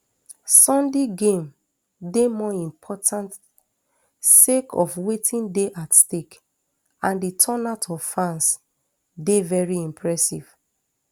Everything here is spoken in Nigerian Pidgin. sunday game dey more important sake of wetin dey at stake and di turnout of fans dey very impressive